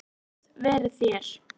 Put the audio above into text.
Guð veri þér.